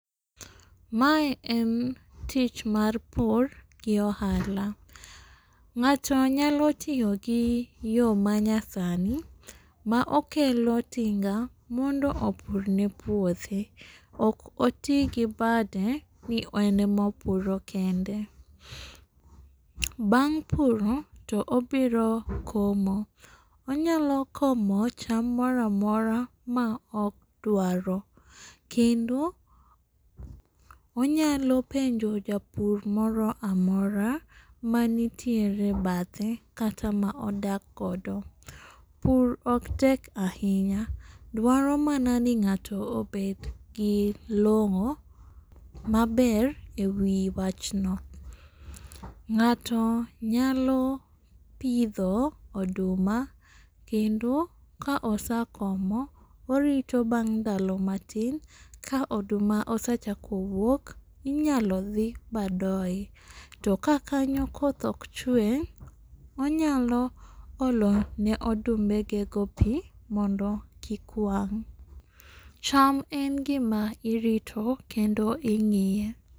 Mae en tich mar pur gi ohala. Ng'ato nyalo tiyo gi yoo ma nyasani ma okelo tinga mondo opur ne puothe. Ok otii gi bade ni en emopuro kende. Bang' pur ni to obiro komo, onyalo komo cham moramora ma odwaro kendo onyalo penjo japur moro amora manitiere bathe kata ma odak godo. Pur ok tek ahinya , dwaro mana ni ng'ato obet gi long'o maber e wi wachno. Ng'ato nyalo pidho oduma kendo ka osakomo orito bang' ndalo matin ka oduma osachako wuok inyalo dhi madoye. To ka kanyo koth ok chwe onyalo olo ne odumbe ge go pii mondo kik wang' Cham en gima irito kendo ing'iye.